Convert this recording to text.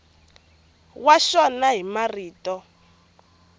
wa xona hi marito ya